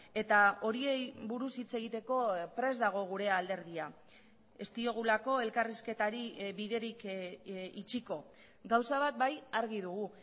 eta horiei buruz hitz egiteko prest dago gure alderdia ez diogulako elkarrizketari biderik itxiko gauza bat bai argi dugu